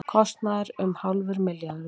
Kostnaður um hálfur milljarður